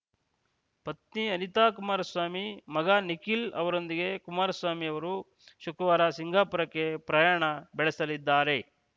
ಪತ್ನಿ ಅನಿತಾ ಕುಮಾರಸ್ವಾಮಿ ಮಗ ನಿಖಿಲ್‌ ಅವರೊಂದಿಗೆ ಕುಮಾರಸ್ವಾಮಿ ಅವರು ಶುಕ್ರವಾರ ಸಿಂಗಾಪುರಕ್ಕೆ ಪ್ರಯಾಣ ಬೆಳೆಸಲಿದ್ದಾರೆ